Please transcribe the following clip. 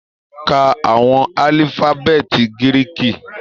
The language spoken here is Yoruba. Ká àwọn alifabeeti Giriki!